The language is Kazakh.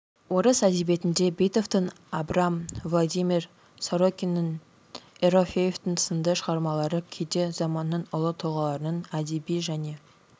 орыс әдебиетінде битовтың абрам владимир сорокиннің ерофеевтің сынды шығармалары кейде заманының ұлы тұлғаларының әдеби және